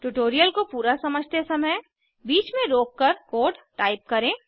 tutorial को पूरा समझते समय बीच में रोककर कोड टाइप करें